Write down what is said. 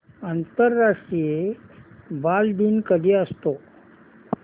आंतरराष्ट्रीय बालदिन कधी असतो